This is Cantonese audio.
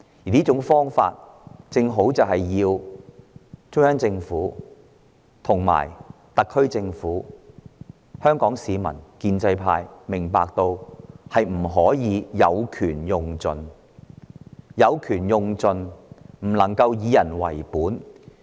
我希望中央政府、特區政府、香港市民及建制派明白，當權者不可有權用盡，否則便無法以人為本。